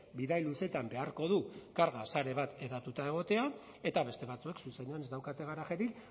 bidai luzeetan beharko du karga sare bat hedatuta egotea eta beste batzuek zuzenean ez daukate garajerik